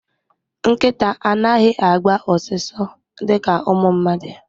Nkịta anaghị agba ọsụsọ dịka ụmụ mmadụ